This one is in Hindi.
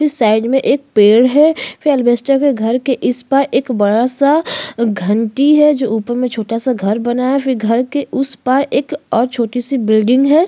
इस साइड में एक पेड़ है के घर के इस पार एक बड़ा सा घंटी है जो उपर में छोटा सा घर बना है फिर घर के उस पार एक और छोटी सी बिल्डिंग है।